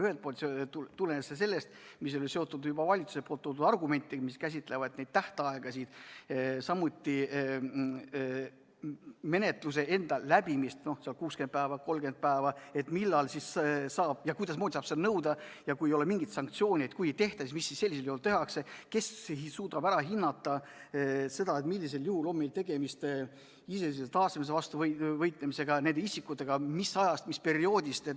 Ühelt poolt tulenes see sellest, mis on seotud juba valitsuse toodud argumentidega, mis käsitlevad tähtaegasid, samuti menetluse enda läbimist – no seal 60 päeva, 30 päeva vms – ehk millal ja kuidas saab siis seda nõuda; kui ei ole mingeid sanktsioone ja kui seadust ei täideta, siis mida sellisel juhul tehakse; kes suudab hinnata, millisel juhul on meil tegemist iseseisvuse taastamise vastu võitlemisega ja isikutega, mis ajast, mis perioodist jne.